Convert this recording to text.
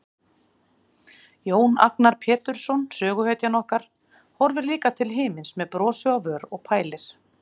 Jón Agnar Pétursson, söguhetjan okkar, horfir líka til himins með brosi á vör og pælir.